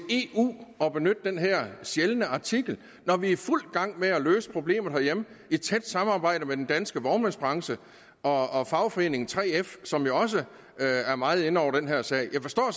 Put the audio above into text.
og benytte den her sjældne artikel når vi er i fuld gang med at løse problemerne herhjemme i et tæt samarbejde med den danske vognmandsbranchen og fagforeningen 3f som jo også er er meget inde over den her sag jeg forstår